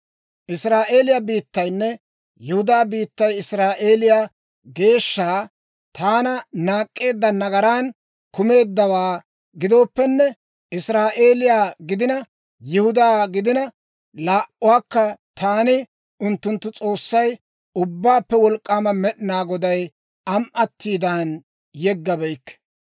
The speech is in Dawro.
Israa'eeliyaa biittaynne Yihudaa biittay Israa'eeliyaa Geeshsha, taana, naak'k'eedda nagaran kumeeddawaa gidooppenne, Israa'eeliyaa gidina, Yihudaa gidina, laa"uwaakka taani unttunttu S'oossay, Ubbaappe Wolk'k'aama Med'inaa Goday am"atiidan yeggabeykke.